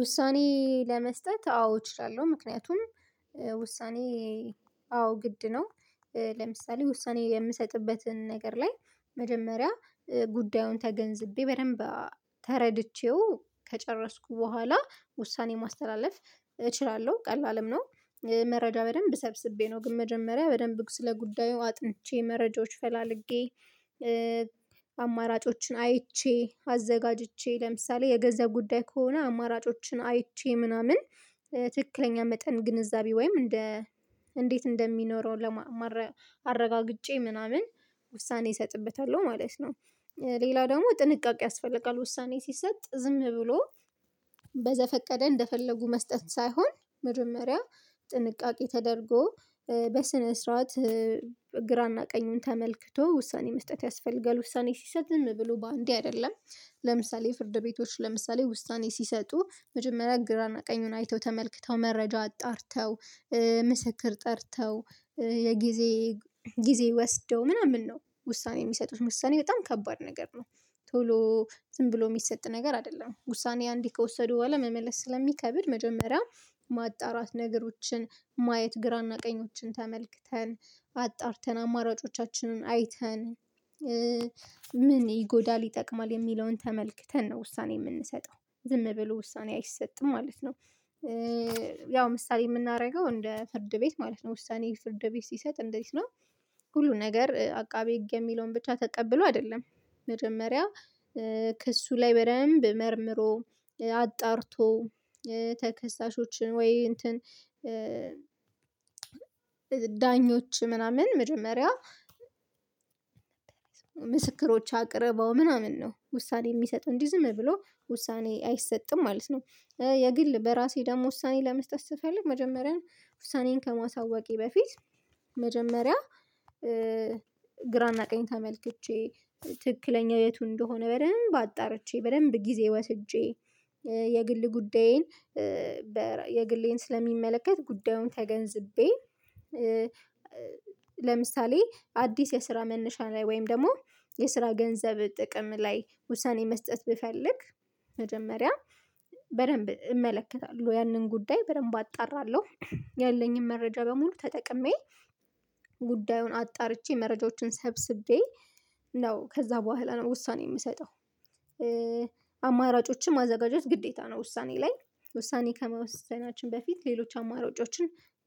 ውሳኔ ለመስጠት አዎ እችላለሁ ምክንያቱም ውሳኔ አዎ ግድ ነው ለምሳሌ ውሳኔ የምሰጥበትን ነገር ላይ መጀመሪያ ጉዳዩን ተገንዝቤ በደንብ ተረድቼው ከጨረስኩ በኋላ ውሳኔ ማስተላለፍ እችላለሁ ቀላልም ነው። መረጃ በደንብ ሰብስቤ ነው ግን መጀመሪያ በደንብ ስለ ጉዳዩ አጥንቼ መረጃዎች ፈላልጌ አማራጮችን አይቼ አዘጋጅቼ ለምሳሌ የገንዘብ ጉዳይ ከሆነ አማራጮችን አይቼ ምናምን ትክክለኛ መጠን ግንዛቤ ወይም እንደ እንዴት እንደሚኖረው አረጋግጨ ምናምን ውሳኔ እሰጥበታለሁ ማለት ነው። ሌላ ደግሞ ጥንቃቄ ያስፈልጋል ውሳኔ ሲሰጥ ዝም ብሎ በዘፈቀደ እንደፈለጉ መስጠት ሳይሆን መጀመሪያ ጥንቃቄ ተደርጎ በስነ ስርዓት ግራና ቀኙን ተመልክቶ ውሳኔ መስጠት ያስፈልጋል ውሳኔ ሲሰጥ ዝም ብሎ በአንዴ አይደለም ለምሳሌ የፍርድ ቤቶች ለምሳሌ ውሳኔ ሲሰጡ መጀመሪያ ግራና ቀኙን አይተው ተመልክተው መረጃ አጣርተው ምስክር ጠርተው የጊዜ ጊዜ ወስደው ምናምን ነው ውሳኔ የሚሰጡት ውሳኔ በጣም ከባድ ነገር ነው። ቶሎ ዝም ብሎ የሚሰጥ ነገር አይደለም ውሳኔ አንዴ ከወሰዱ በኋላ መመለስ ስለሚከብድ መጀመሪያ ማጣራት ነገሮችን ማየት ግራና ቀኞችን ተመልክተን አጣርተን አማራጮቻችንን አይተን ምን ይጎዳል ይጠቅማል የሚለውን ተመልክተን ነው ውሳኔ የምንሰጠው ዝም ብሎ ውሳኔ አይሰጥም ማለት ነው። ያው ምሳሌ እምናደርገው እንደ ፍርድ ቤት ማለት ነው ውሳኔ ፍርድ ቤት ሲሰጥ እንዴት ነው? ሁሉ ነገር አቃቤ ህግ የሚለውን ብቻ ተቀብሎ አይደለም መጀመሪያ ከእሱ ላይ በደንብ መርምሮ አጣርቶ ተከሳሾችን ወይ እንትን ዳኞች ምናምን መጀመሪያ ምስክሮች አቅርበው ምናምን ነው ውሳኔ የሚሰጠው እንጂ ዝም ብሎ ውሳኔ አይሰጥም ማለት ነው። የግል በራሴ ደግሞ ውሳኔ ለመስጠት ስፈልግ መጀመሪያን ውሳኔን ከማሳወቄ በፊት መጀመሪያ ግራና ቀኝ ተመልክቼ ትክክለኛ የቱ እንደሆነ በደንብ አጣርቼ በደንብ ጊዜ ወስጄ የግል ጉዳዬን የግሌን ስለሚመለከት ጉዳዩን ተገንዝቤ ለምሳሌ አዲስ የስራ መነሻ ላይ ወይም ደግሞ የስራ ገንዘብ ጥቅም ላይ ውሳኔ መስጠት ብፈልግ መጀመሪያ በደንብ እመለከታለሁ ያንን ጉዳይ በደንብ አጣራለሁ ያለኝን መረጃ በሙሉ ተጠቅሜ ጉዳዩን አጣርቼ መረጃዎችን ሰብስቤ ነው ከዛ በኋላ ውሳኔ የምሰጠው አማራጮችን ማዘጋጀት ግዴታ ነው። ውሳኔ ላይ ውሳኔ ከመወሰናችን በፊት ሌሎች አማራጮችን